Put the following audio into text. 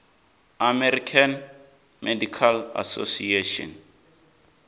american medical association